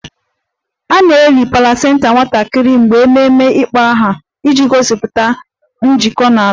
A na-eli placenta nwatakịrị mgbe ememe ịkpọ aha iji gosipụta njikọ na ala